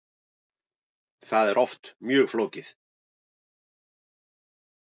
Það er oft mjög flókið.